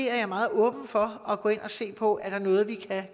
er meget åben for at gå ind og se på er noget vi kan